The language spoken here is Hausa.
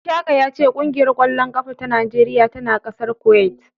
Ishaka ya ce ƙungiyar ƙwallon ƙafa ta Najeriya tana ƙasar Kuwait.